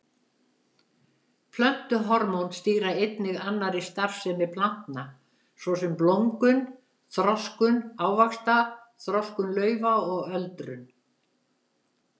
Plöntuhormón stýra einnig annarri starfsemi plantna svo sem blómgun, þroskun ávaxta, þroskun laufa og öldrun.